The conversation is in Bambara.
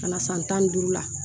Ka na san tan ni duuru la